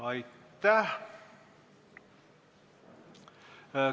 Aitäh!